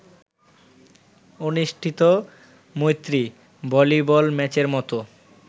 অনুষ্ঠিত ‘মৈত্রী’ ভলিবল ম্যাচের মতো